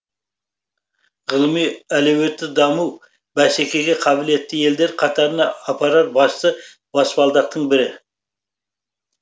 ғылыми әлеуетті даму бәсекеге қабілетті елдер қатарына апарар басты баспалдақтың бірі